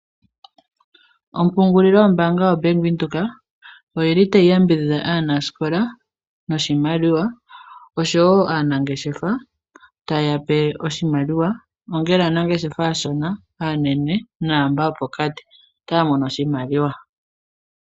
Ompungulilo yombaanga yaVenduka otayi yambidhidha aanasikola noshimaliwa noshowo aanangeshefa taye ya pe oshimaliwa. Ongele aanangeshefa aashona, aanene naamboka yopokati. Otaya mono oshimaliwa.